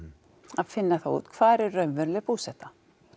að finna út hvar er raunveruleg búseta